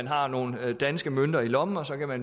har nogle danske mønter i lommen og